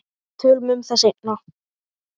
Tölum um það seinna.